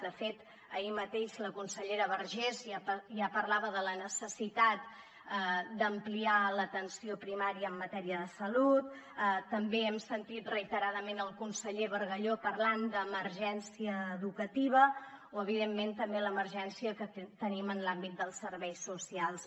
de fet ahir mateix la consellera vergés ja parlava de la necessitat d’ampliar l’atenció primària en matèria de salut també hem sentit reiteradament el conseller bargalló parlant d’ emergència educativa o evidentment també l’emergència que tenim en l’àmbit dels serveis socials